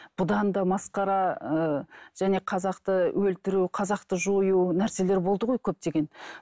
бұдан да масқара ыыы және қазақты өлтіру қазақты жою нәрселер болды ғой көптеген